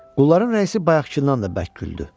Qulların rəisi bayaqdan da bərk güldü.